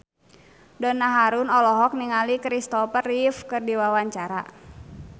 Donna Harun olohok ningali Kristopher Reeve keur diwawancara